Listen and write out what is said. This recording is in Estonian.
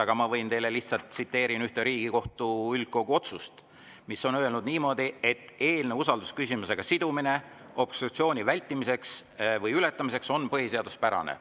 Aga ma võin teile lihtsalt tsiteerida ühte Riigikohtu üldkogu otsust, milles on öelnud niimoodi, et eelnõu usaldusküsimusega sidumine obstruktsiooni vältimiseks või ületamiseks on põhiseaduspärane.